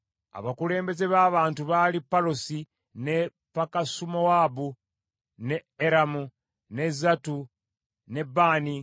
Abakulembeze b’abantu baali: Palosi, ne Pakasumowaabu, ne Eramu, ne Zattu, ne Baani,